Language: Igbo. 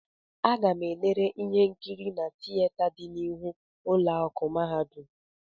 Aga-m elere ihe nkiri na tieta dị n'ihu ụlọ akụ mahadum.